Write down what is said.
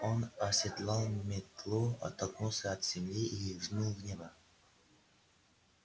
он оседлал метлу оттолкнулся от земли и взмыл в небо